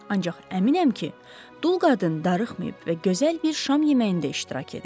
Ancaq əminəm ki, dul qadın darıxmayıb və gözəl bir şam yeməyində iştirak edib.